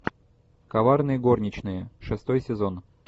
коварные горничные шестой сезон